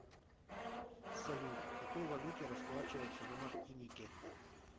салют какой валютой расплачиваются на мартинике